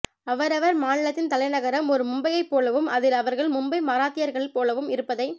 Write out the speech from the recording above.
அவரவர் மாநிலத்தின் தலைநகரம் ஒரு மும்பையைப் போலவும் அதில் அவர்கள் மும்பை மராத்தியர்கள் போலவும் இருப்பதை